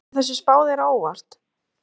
Kemur þessi spá þér á óvart?